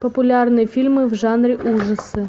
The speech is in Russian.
популярные фильмы в жанре ужасы